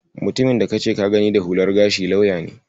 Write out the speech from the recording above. Mutumin da kace ka gani da hular gashi lauya ne.